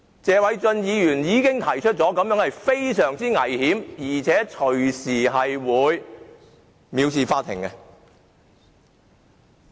謝偉俊議員已指出，這個做法非常危險，隨時會被視作藐視法庭。